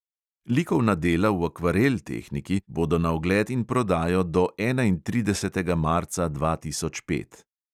Likovna dela v akvarel tehniki bodo na ogled in prodajo do enaintridesetega marca dva tisoč pet.